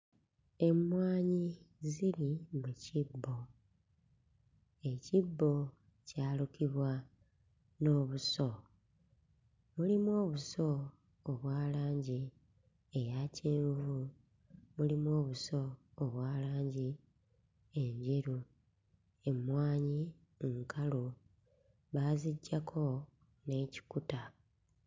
Emmwanyi ziri mu kibbo. Ekibbo kyalukibwa n'obuso. Mulimu obuso obwa langi eya kyenvu, mulimu obuso obwa langi enjeru. Emmwanyi nkalu baaziggyako n'ekikuta.